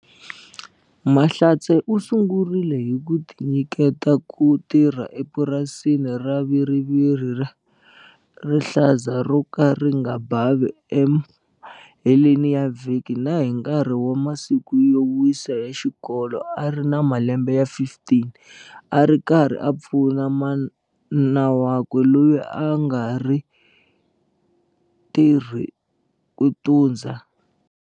Mahlatse u sungurile hi ku tinyiketa ku tirha epurasini ra viriviri ra rihlaza ro ka ri nga bavi emaheleni ya vhiki na hi nkarhi wa masiku yo wisa ya xikolo a ri na malembe ya 15 a ri karhi a pfuna mana wakwe loyi a nga tirheku ku tundza.